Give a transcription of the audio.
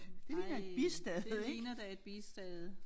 Ej det ligner da et bistade